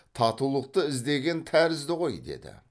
татулықты іздеген тәрізді ғой деді